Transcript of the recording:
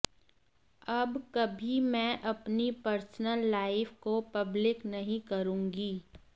अब कभी मैं अपनी पर्सनल लाइफ को पब्लिक नहीं करूंगी